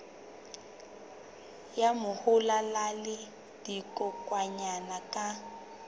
ya mahola le dikokwanyana ka